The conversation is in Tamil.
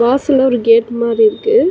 வாசல்ல ஒரு கேட் மாரி இருக்கு.